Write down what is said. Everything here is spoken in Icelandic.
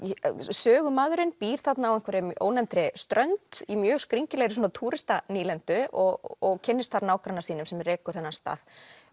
sögumaðurinn býr þarna á einhverri ónefndri strönd í mjög skringilegri og kynnist þar nágranna sínum sem rekur þennan stað